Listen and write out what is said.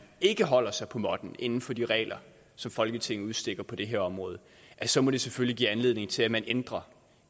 ikke holder sig på måtten inden for de regler som folketinget udstikker på det her område så må det selvfølgelig give anledning til at man ændrer